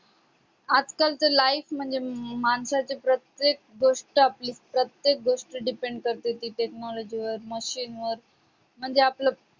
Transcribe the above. आजकालच life म्हणजे माणसाची प्रत्येक गोष्ट आपली प्रत्येक गोष्ट depend करते technology वर machine वर म्हणजे आपलं